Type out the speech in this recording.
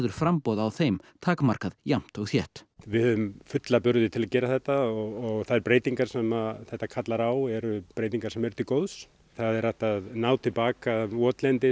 framboð á þeim takmarkað jafnt og þétt við höfum fulla burði til að gera þetta og þær breytingar sem þetta kallar á eru breytingar sem eru til góðs það er hægt að ná til baka votlendi